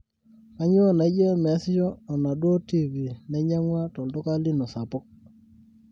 kaiinyoo naijo meesisho onaduo tv nainyagua tolduka lino sapuk